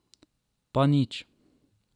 Pa nič.